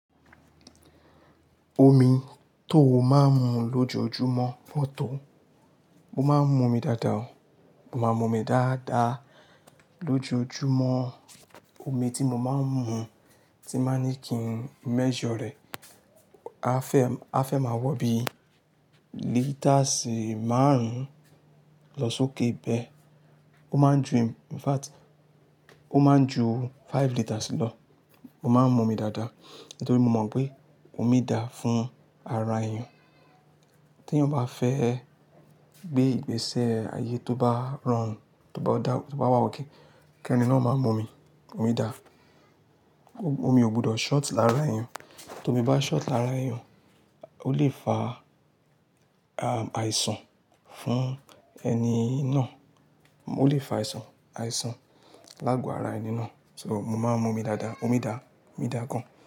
Omi tó máa ń mu lójoojúmọ́ pọ̀ tó. Mo máa ń mu omi dáadáa. Mo máa ń mu omi dáadáa lójoojúmọ́. Omi tí mo máa ń mu tí báa ní kí n measure rẹ̀. A fẹ́, a fẹ́ máa wọ bí lításì márùn-ún lọ sókè bẹ́ẹ̀. Ó máa ń ju, in fact, ó máa ń ju five lításì lọ. Mo máa ń mu omi dáadáa nítorí mo mọ̀ pé omi da fún ara èèyàn. Tí èèyàn bá fẹ́ gbé ìgbésẹ̀ ayé tó bá rọrùn, tó bá dá, tó bá okay, kẹ́ni náà máa mu omi. Omi da. Omi ò gbọdọ̀ short lára èèyàn. Tó mi bá short lára èèyàn, ó lè fa, ahm, àìsàn fún ẹni náà. Ó lè fa àìsàn, àìsàn láàgò ara ẹni náà. So, mo máa ń mu omi dáadáa. Omi da, omi dáa gan.